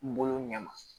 N bolo ɲɛ ma